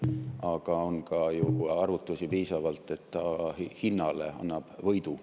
Aga on ka ju piisavalt arvutusi, et ta hinnas annab võidu.